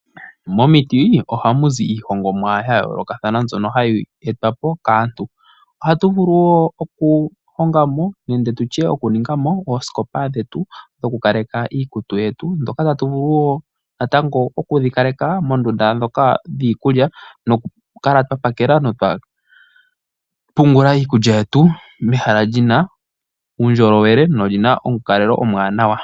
Momiti ohamu zi iihongomwa yayoolokathana mbyono hayi etwa po kaantu. Ohatu vulu wo okuhonga mo nenge tu tye okuninga mo oosikopa dhetu dhokukaleka iikutu yetu ndhoka ta tu vulu wo natango okudhikaleka moondunda ndhoka dhiikulya nokukala twapakela notwapungula iikulya yetu mehala li na uundjolowele noli na omukalelo omuwanawa.